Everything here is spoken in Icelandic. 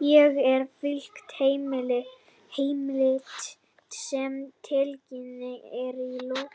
Hér er fylgt heimild sem tiltekin er í lok